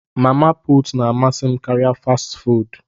Mama put na amasị m karịa fastị fụụdụ.